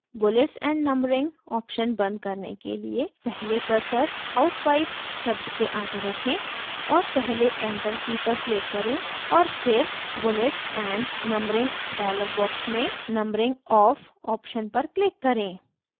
bullets and numbering option बंद करने के लिए पहले cursor housewife शब्द के आगे रखें और पहले enter की पर click करें और फिर bullets and numbering dialog box में numbering off option पर click करें